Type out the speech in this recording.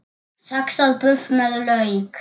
Saxað buff með lauk